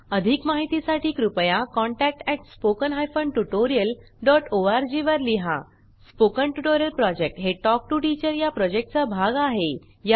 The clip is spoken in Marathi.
अधिक माहितीसाठी कृपया contact at spoken hyphen tutorial dot O R G वर लिहा स्पोकन ट्युटोरियल प्रॉजेक्ट हे टॉक टू टीचर या प्रॉजेक्टचा भाग आहे